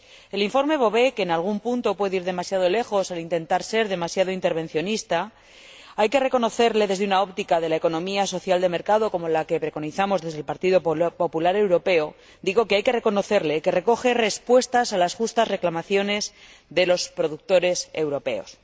Al informe Bové, que, en algún punto puede ir demasiado lejos al intentar ser demasiado intervencionista, hay que reconocerle desde una óptica de la economía social de mercado como la que preconizamos desde el Partido Popular Europeo que recoge respuestas a las justas reclamaciones de los productores europeos.